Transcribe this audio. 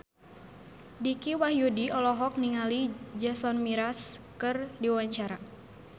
Dicky Wahyudi olohok ningali Jason Mraz keur diwawancara